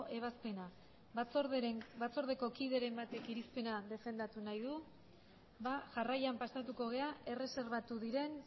ebazpena batzordeko kideren batek irizpena defendatu nahi du ba jarraian pasako gera erreserbatu diren